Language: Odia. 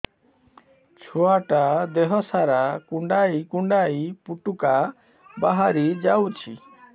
ଛୁଆ ଟା ଦେହ ସାରା କୁଣ୍ଡାଇ କୁଣ୍ଡାଇ ପୁଟୁକା ବାହାରି ଯାଉଛି